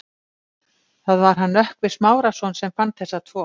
Það var hann Nökkvi Smárason sem fann þessa tvo.